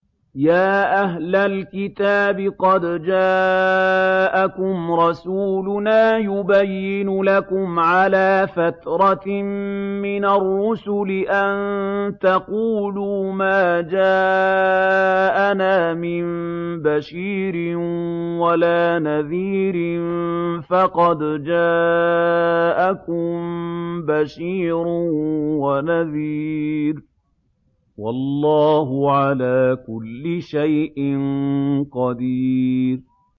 يَا أَهْلَ الْكِتَابِ قَدْ جَاءَكُمْ رَسُولُنَا يُبَيِّنُ لَكُمْ عَلَىٰ فَتْرَةٍ مِّنَ الرُّسُلِ أَن تَقُولُوا مَا جَاءَنَا مِن بَشِيرٍ وَلَا نَذِيرٍ ۖ فَقَدْ جَاءَكُم بَشِيرٌ وَنَذِيرٌ ۗ وَاللَّهُ عَلَىٰ كُلِّ شَيْءٍ قَدِيرٌ